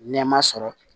Nɛma sɔrɔ